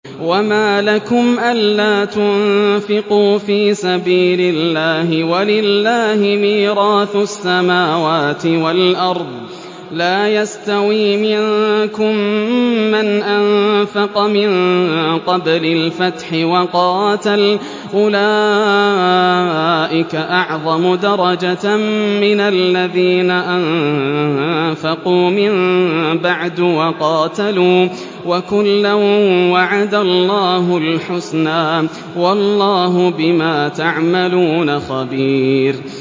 وَمَا لَكُمْ أَلَّا تُنفِقُوا فِي سَبِيلِ اللَّهِ وَلِلَّهِ مِيرَاثُ السَّمَاوَاتِ وَالْأَرْضِ ۚ لَا يَسْتَوِي مِنكُم مَّنْ أَنفَقَ مِن قَبْلِ الْفَتْحِ وَقَاتَلَ ۚ أُولَٰئِكَ أَعْظَمُ دَرَجَةً مِّنَ الَّذِينَ أَنفَقُوا مِن بَعْدُ وَقَاتَلُوا ۚ وَكُلًّا وَعَدَ اللَّهُ الْحُسْنَىٰ ۚ وَاللَّهُ بِمَا تَعْمَلُونَ خَبِيرٌ